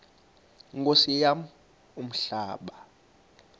nkosi yam umhlaba